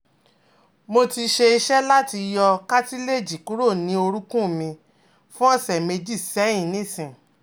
Mo ti ṣe iṣẹ́ lati yo cartilage kuro ni orukun mi fun ọ̀sẹ̀ meji sẹ́yin nisin